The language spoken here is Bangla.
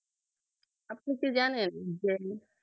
আপনি তো জানেন যে